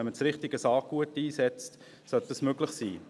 Wenn man das richtige Saatgut einsetzt, sollte das möglich sein.